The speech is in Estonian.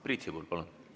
Priit Sibul, palun!